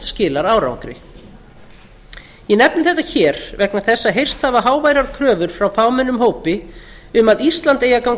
skilar árangri ég nefni þetta hér vegna þess að heyrst hafa háværar kröfur frá fámennum hópi um að ísland eigi að ganga